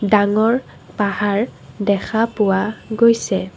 ডাঙৰ পাহাৰ দেখা পোৱা গৈছে।